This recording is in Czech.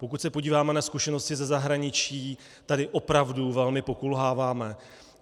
Pokud se podíváme na zkušenosti ze zahraničí, tady opravdu velmi pokulháváme.